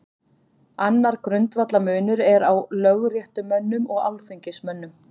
Annar grundvallarmunur er á lögréttumönnum og alþingismönnum.